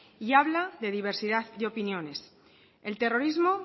y habla de diversidad de opiniones el terrorismo